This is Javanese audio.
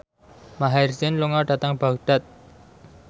Maher Zein lunga dhateng Baghdad